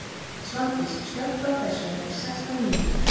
Svandís, slökktu á þessu eftir sextán mínútur.